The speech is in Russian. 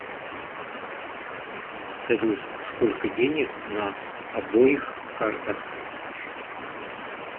салют сколько денег на обоих картах